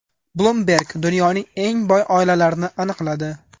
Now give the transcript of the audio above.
Bloomberg dunyoning eng boy oilalarini aniqladi.